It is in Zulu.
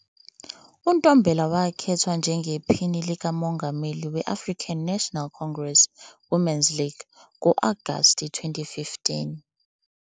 UNtombela wakhethwa njengePhini likaMongameli we-African National Congress Women's League ngo-Agasti 2015.